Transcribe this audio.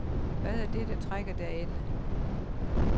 Hvad er det, der trækker derinde.